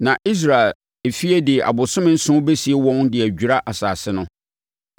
“ ‘Na Israel efie de abosome nson bɛsie wɔn de adwira asase no.